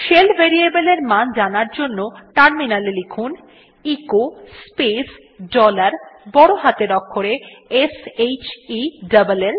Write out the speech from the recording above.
shell variableএর মান জানার জন্য টার্মিনালে লিখুন এচো স্পেস ডলার বড় হাতের অক্ষরে s h e l ল